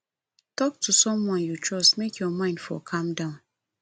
talk to someone you trust make your mind for calm small